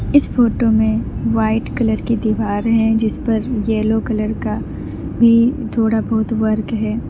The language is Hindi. इस फोटो में वाइट कलर की दीवार है जिस पर येलो कलर का भी थोड़ा बहुत वर्क है।